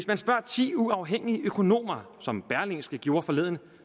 man spurgte ti uafhængige økonomer som berlingske gjorde forleden